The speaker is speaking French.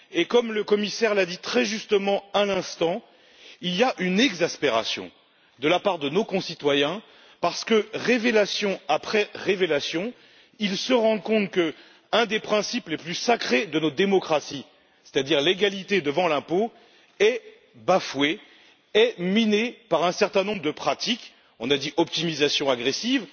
Comme le commissaire l'a dit très justement à l'instant, il y a de l'exaspération chez nos concitoyens parce que, révélation après révélation, ils se rendent compte que l'un des principes les plus sacrés de nos démocraties c'est à dire l'égalité devant l'impôt est bafoué et miné par un certain nombre de pratiques telles que l'optimisation agressive,